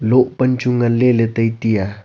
loh pan chu ngan le le tai tai a.